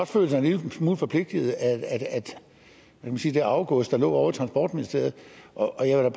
føle sig en lille smule forpligtet af det arvegods der lå ovre i transportministeriet og jeg vil